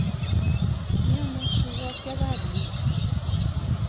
Miano tugosyek ap yu?